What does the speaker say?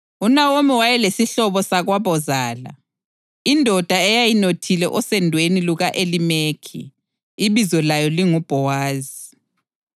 UNawomi wayelesihlobo sakwabozala, indoda eyayinothile osendweni luka-Elimeleki, ibizo layo linguBhowazi.